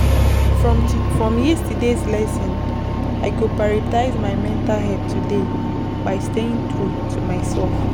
From yesterday’s lesson, I go prioritize my mental health today by staying true to myself.